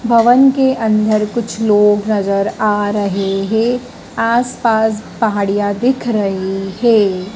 भवन के अंदर कुछ लोग नजर आ रहे है आस पास पहाड़ियां दिख रही है।